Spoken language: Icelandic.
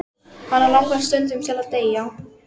Hana langar stundum til að deyja.